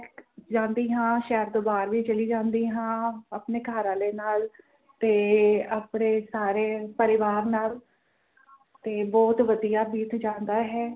ਜਾਂਦੀ ਹਾਂ ਸ਼ਹਿਰ ਤੋਂ ਬਾਹਰ ਵੀ ਚਲੀ ਜਾਂਦੀ ਹਾਂ ਆਪਣੇ ਘਰ ਆਲੇ ਨਾਲ ਤੇ ਆਪਣੇ ਸਾਰੇ ਪਰਿਵਾਰ ਨਾਲ ਤੇ ਬੋਹੋਤ ਵਧੀਆ ਬੀਤ ਜਾਂਦਾ ਹੈ